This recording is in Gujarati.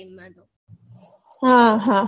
હા હા